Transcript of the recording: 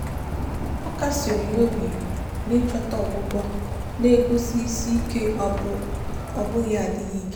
ọ kasiri ya obi na ịchọta ọgwụgwọ na-egosi isi ike ọ bụghị adịghị ike.